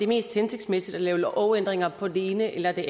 mest hensigtsmæssigt at lave lovændringer på den ene eller